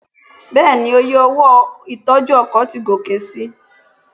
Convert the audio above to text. Bẹ́ẹ̀ni, oye owó ìtọ́jú ọkọ̀ ti gòkè si.